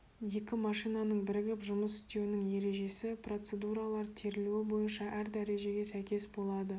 екі машинаның бірігіп жұмыс істеуінің ережесі процедуралар терілуі бойынша әр дәрежеге сәйкес болады